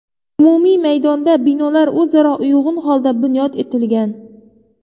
Umumiy maydonda binolar o‘zaro uyg‘un holda bunyod etilgan.